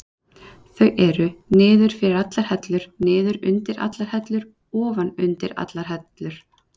Þau eru: niður fyrir allar hellur, niður undir allar hellur, ofan undir allar hellur.